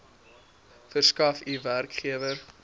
verskaf u werkgewer